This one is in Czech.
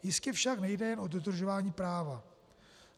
Jistě však nejde jen o dodržování práva.